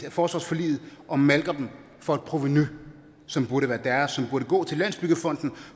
forsvarsforliget og malker dem for et provenu som burde være deres og som burde gå til landsbyggefonden